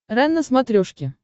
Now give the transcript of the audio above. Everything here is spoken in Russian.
рен на смотрешке